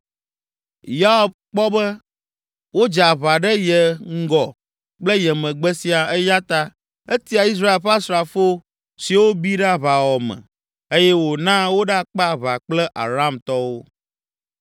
Yoab kpɔ be wodze aʋa ɖe ye ŋgɔ kple ye megbe siaa eya ta etia Israel ƒe asrafo siwo bi ɖe aʋawɔwɔ me eye wòna woɖakpe aʋa kple Aramtɔwo.